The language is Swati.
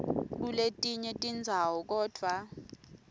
kuletinye tindzawo kodvwa